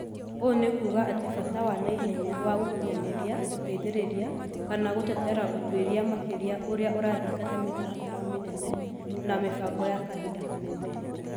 Ũũ nĩ kuuga atĩ bata wa naihenya wa gũkinyanĩria, gũteithĩrĩria, kana gũtetera ũtuĩria makĩria ũrĩa ũrathingata mĩtaratara mĩnene na mĩbango ya kahinda kanene.